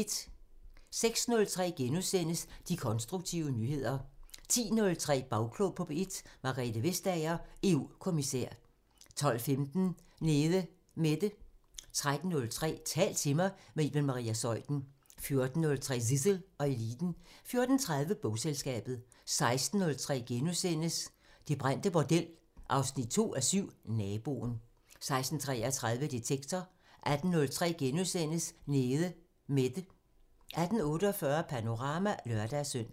06:03: De konstruktive nyheder * 10:03: Bagklog på P1: Margrethe Vestager, EU-kommissær 12:15: Nede Mette 13:03: Tal til mig – med Iben Maria Zeuthen 14:03: Zissel og Eliten 14:30: Bogselskabet 16:03: Det brændte bordel 2:7 – Naboen * 16:33: Detektor 18:03: Nede Mette * 18:48: Panorama (lør-søn)